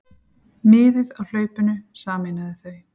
Miðið á hlaupinu sameinaði þau.